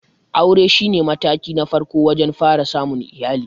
Aure shi ne mataki na farko wajen fara samun iyali.